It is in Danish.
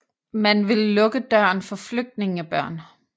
Man vil lukke døren for flygtningebørn